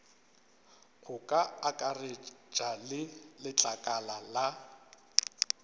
go akaretša le letlakala la